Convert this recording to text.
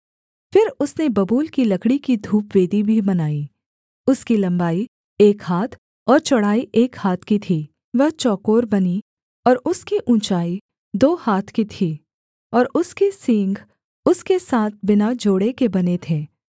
फिर उसने बबूल की लकड़ी की धूपवेदी भी बनाई उसकी लम्बाई एक हाथ और चौड़ाई एक हाथ की थी वह चौकोर बनी और उसकी ऊँचाई दो हाथ की थी और उसके सींग उसके साथ बिना जोड़ के बने थे